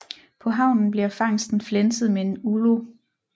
På havnen bliver fangsten flænset med en ulo